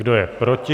Kdo je proti?